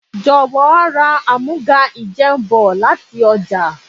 Jọ̀wọ́ ra àmúga-ìjẹun bọ̀ láti ọjà.